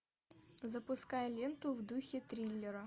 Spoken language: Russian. запускай ленту в духе триллера